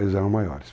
Eles eram maiores.